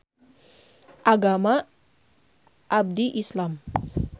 Agama abdi Islam